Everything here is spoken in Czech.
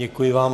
Děkuji vám.